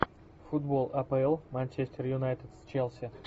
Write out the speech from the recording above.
футбол апл манчестер юнайтед с челси